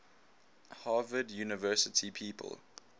harvard university people